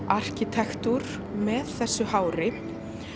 arkitektúr með þessu hári